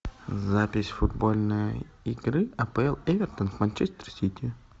запись футбольной игры апл эвертон манчестер сити